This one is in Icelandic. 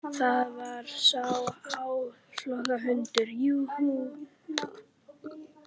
Það var sá áflogahundur, jú, jú.